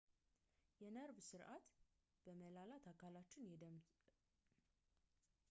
የነርቭ ስርዓት በመላ አካላችን የደም ስርጭት ሳይረበሽ እንዲቀጥል ለማድርግ የነርቭ ስሜት እየላከ ተስተካክሎትን ያስጠብቃል